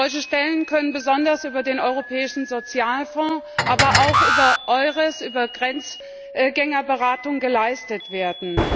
Solche Stellen können besonders über den Europäischen Sozialfonds, aber auch über EURES, über Grenzgängerberatung geleistet werden.